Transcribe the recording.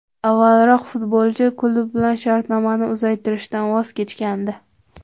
Avvalroq futbolchi klub bilan shartnomani uzaytirishdan voz kechgandi.